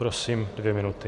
Prosím, dvě minuty.